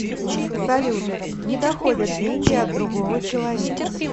салют не доходят деньги от другого человека